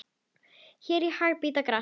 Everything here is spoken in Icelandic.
Ær í haga bíta gras.